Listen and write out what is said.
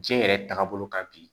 Diɲɛ yɛrɛ taagabolo kan bi